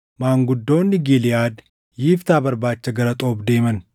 maanguddoonni Giliʼaad Yiftaa barbaacha gara Xoob deeman.